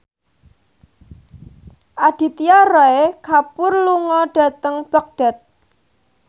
Aditya Roy Kapoor lunga dhateng Baghdad